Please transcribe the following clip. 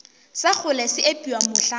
sa kgole se epiwa mohla